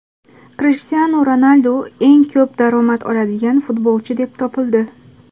Krishtianu Ronaldu eng ko‘p daromad oladigan futbolchi deb topildi.